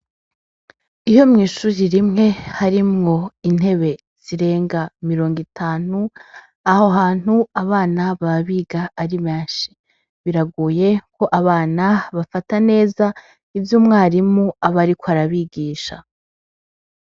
Iyo mwishuji rimwe harimwo intebe zirenga mirongo itantu aho hantu abana babiga arimenshi biraguye ko abana bafata neza ivyo umwarimu aba, ariko arabigisha.